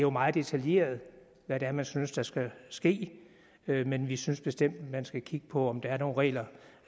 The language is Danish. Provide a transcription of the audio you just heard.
er meget detaljeret hvad det er man synes der skal ske men vi synes bestemt man skal kigge på om der er nogle regler